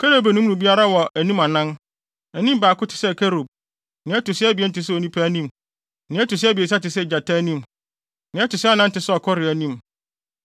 Kerubim no mu biara wɔ anim anan. Anim baako te sɛ kerub, nea ɛto so abien te sɛ onipa anim, nea ɛto so abiɛsa te sɛ gyata anim, nea ɛto so anan te sɛ ɔkɔre anim.